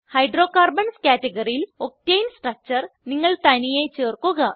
hydrocarbons ക്യാറ്റഗറിയിൽ octane structure നിങ്ങൾ തനിയെ ചേർക്കുക